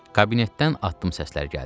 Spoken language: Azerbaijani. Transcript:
Kabinetdən addım səsləri gəldi.